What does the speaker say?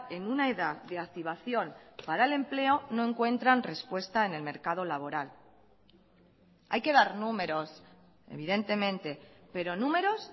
en una edad de activación para el empleo no encuentran respuesta en el mercado laboral hay que dar números evidentemente pero números